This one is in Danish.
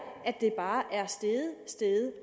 steget